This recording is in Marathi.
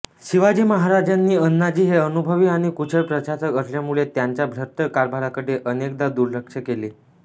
शिवाजी महाराजांनी अण्णाजी हे अनुभवी आणि कुशल प्रशासक असल्यामुळे त्यांच्या भ्रष्ट कारभाराकडे अनेकदा दुर्लक्ष केले